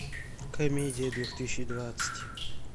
комедия две тысячи двадцать